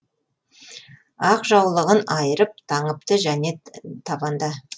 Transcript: ақ жаулығын айырып таңыпты және табанда